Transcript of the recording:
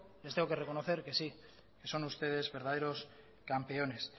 les tengo que reconocer que sí que son ustedes verdaderos campeones